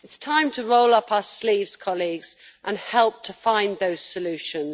It is time to roll up our sleeves, colleagues, and help to find those solutions.